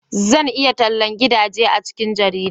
zan yi tallan gidaje a cikin jarida